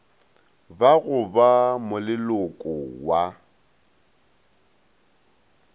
ba go ba moleloko wa